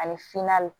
Ani finna